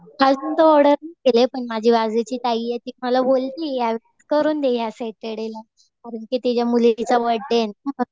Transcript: अजून थोडंसच केलंय. पण बाजूची ताई आहे. ती बोललीये करून दे या सॅटरडे ला. कारण कि तिच्या मुलीचा बर्थडे आहे ना.